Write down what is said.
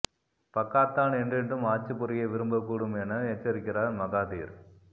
Pakatan என்றென்றும் ஆட்சி புரிய விரும்பக் கூடும் என எச்சரிக்கிறார் மகாதீர்